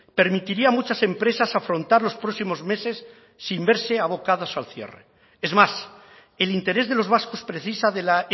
permitiría a muchas empresas afrontar los próximos meses sin verse abocadas al cierre es más el interés de los vascos precisa de la